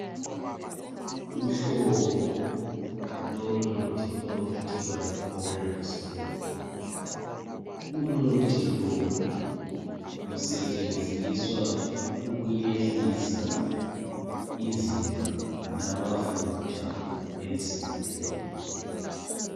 Uhlobo lomuthi okuthiwa yicholrestore, umuthi lo usetshenziswa ukuyehlisa izinga lamafutha emzimbeni.